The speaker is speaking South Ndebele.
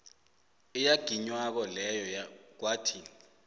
eyaginywako leyo kwathi